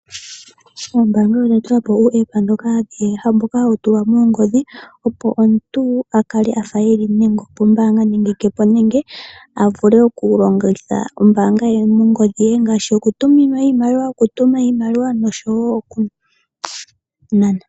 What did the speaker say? Oombaanga odha tula po uuApp mboka hawu tulwa moongodhi, opo omuntu akale afa eli nenge opombaanga nande ke po, nenge avule oku longitha ombaanga ye nongodhi ye ngaashi okutuminwa iimaliwa, okutuma iimaliwa nosho wo oku nana.